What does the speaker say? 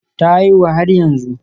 Ta haihu har yanzu